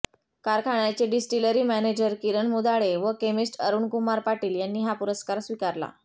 कारखान्याचे distillery manager Kiran Mudhale व chemist Arunkumar Patil यांनी हा पुरस्कार स्वीकारला